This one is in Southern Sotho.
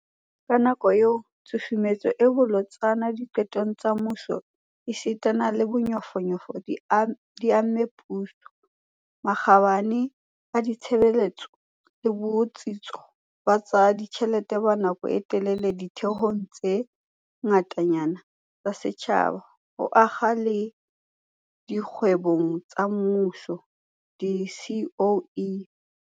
Ka yona nako eo, tshusumetso e bolotsana diqetong tsa mmuso esita le bonyofonyofo di amme puso, makgabane a ditshebetso le botsitso ba tsa ditjhelete ba nako e telele ditheong tse ngatanyana tsa setjhaba, ho akga le dikgwebong tsa mmuso di-SOE.